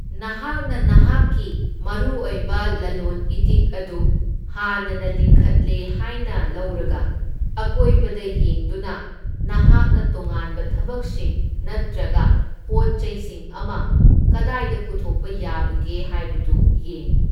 ꯅꯍꯥꯛꯅ ꯅꯍꯥꯛꯀꯤ ꯃꯔꯨ ꯑꯣꯏꯕ ꯂꯂꯣꯟ ꯏꯇꯤꯛ ꯑꯗꯨ ꯍꯥꯟꯅꯅ ꯂꯤꯡꯈꯠꯂꯦ ꯍꯥꯏꯅ ꯂꯧꯔꯒ, ꯑꯀꯣꯏꯕꯗ ꯌꯦꯡꯗꯨꯅ ꯅꯍꯥꯛꯅ ꯇꯣꯉꯥꯟꯕ ꯊꯕꯛꯁꯤꯡ ꯅꯠꯇ꯭ꯔꯒ ꯄꯣꯠꯆꯩꯁꯤꯡ ꯑꯃ ꯀꯗꯥꯏꯗ ꯄꯨꯊꯣꯛꯄ ꯌꯥꯕꯒꯦ ꯍꯥꯏꯕꯗꯨ ꯌꯦꯡꯎ꯫